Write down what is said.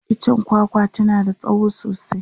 itchen kwakwa tana da tsawo sosai